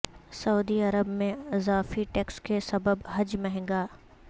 سعودی عرب میں اضافی ٹیکس کے سبب حج مہنگا